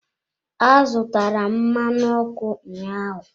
Azụtara m mmanụ ọkụ ụnyaahụ.